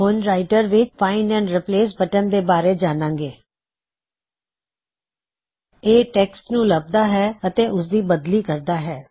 ਹੁਣ ਅਸੀ ਰਾਇਟਰ ਵਿੱਚ ਫਾਇਨ੍ਡ ਐਂਡ ਰਿਪ੍ਲੇਸ ਬਟਨ ਦੇ ਬਾਰੇ ਜਾਨਾਂਗੇ ਇਹ ਟੈਕ੍ਸਟ ਨੂੰ ਲੱਭਦਾ ਹੈ ਅਤੇ ਉਸਦੀ ਬਦਲੀ ਕਰਦਾ ਹੈ